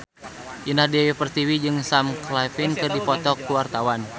Indah Dewi Pertiwi jeung Sam Claflin keur dipoto ku wartawan